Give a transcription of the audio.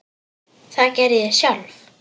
Það geri ég sjálf.